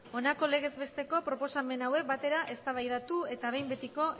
honako legez besteko proposamen hauek batera eztabaidatu eta behin betiko